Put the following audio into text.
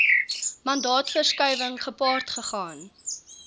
mandaatverskuiwing gepaard gegaan